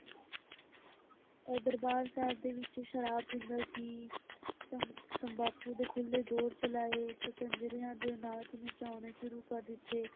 ਦਰਬਾਰ ਸਾਹਿਬ ਦੇ ਵਿੱਚ ਸ਼ਰਾਬ ਪੀਂਦਾ ਸੀ, ਤੰਬਾਕੂ ਦੇ ਖੁੱਲੇ ਦੌਰ ਚਲਾਏ ਤੇ ਕੰਜਰੀਆਂ ਦੇ ਨਾਚ ਨਚਾਉਣੇ ਸ਼ੁਰੂ ਕਰ ਦਿੱਤੇ।